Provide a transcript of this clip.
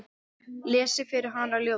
Lesi fyrir hana ljóð.